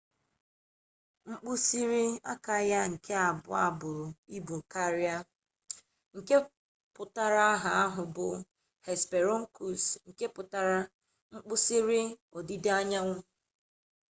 mkpisiri aka ya nke abuo buru ibu karia nke tuputara aha ahu bu hesperonychus nke putara nkpisiri odida-anyanwu